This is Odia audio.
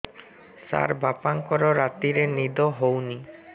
ସାର ବାପାଙ୍କର ରାତିରେ ନିଦ ହଉନି